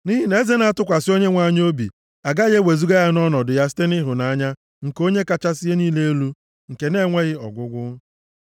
Nʼihi na eze na-atụkwasị Onyenwe anyị obi, agaghị ewezuga ya nʼọnọdụ ya site nʼịhụnanya nke Onye kachasị ihe niile elu nke na-enweghị ọgwụgwụ.